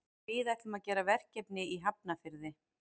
Við ætlum að gera verkefni í Hafnarfirði.